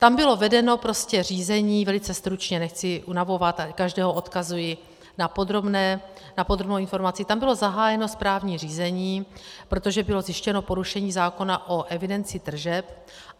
Tam bylo vedeno prostě řízení, velice stručně, nechci unavovat, každého odkazuji na podrobnou informaci, tam bylo zahájeno správní řízení, protože bylo zjištěno porušení zákona o evidenci tržeb.